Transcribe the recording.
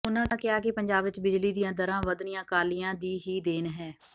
ਉਨ੍ਹਾਂ ਕਿਹਾ ਕਿ ਪੰਜਾਬ ਵਿਚ ਬਿਜਲੀ ਦੀਆਂ ਦਰਾਂ ਵਧਣੀਆਂ ਅਕਾਲੀਆਂ ਦੀ ਹੀ ਦੇਣ ਹੈ